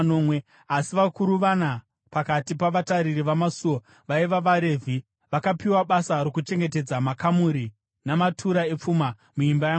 Asi vakuru vana pakati pavatariri vamasuo, vaiva vaRevhi, vakapiwa basa rokuchengetedza makamuri namatura epfuma muimba yaMwari.